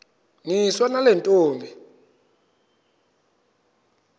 niswa nale ntombi